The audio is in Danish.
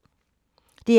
DR2